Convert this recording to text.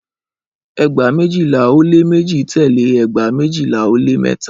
Ẹgba mejila o le meji tẹle ẹgba mejila o le mẹta.